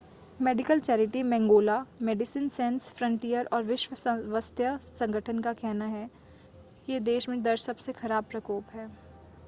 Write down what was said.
medical charity मैंगोला Medecins Sans Frontieres और विश्व स्वास्थ्य संगठन का कहना है कि यह देश में दर्ज सबसे ख़राब प्रकोप है